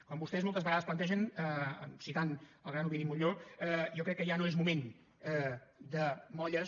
com vostès moltes vegades plantegen citant el gran ovidi montllor jo crec que ja no és moment de molles